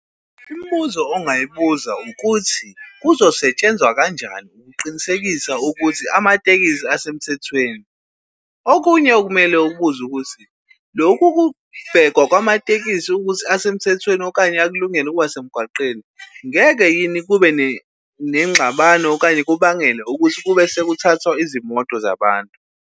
Imibuzo ongayibuza ukuthi, kuzosetshenzwa kanjani ukuqinisekisa ukuthi amatekisi asemthethweni? Okunye okumele ukubuze ukuthi lokhu ukubhekwa kwamatekisi ukuthi asemthethweni okanye akulungele ukuba semgwaqeni ngeke yini kube nengxabano okanye kubangele ukuthi kube sekuthathwa izimoto zabantu?